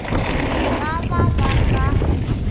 e ka ba ba ka